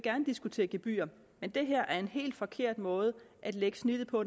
diskutere gebyrer men det her er en helt forkert måde at lægge snittet på